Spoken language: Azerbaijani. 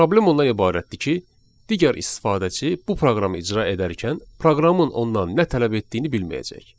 Problem ondan ibarətdir ki, digər istifadəçi bu proqramı icra edərkən, proqramın ondan nə tələb etdiyini bilməyəcək.